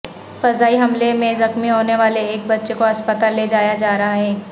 فضائی حملے میں زخمی ہونے والے ایک بچے کو اسپتال لے جایا جا رہا ہے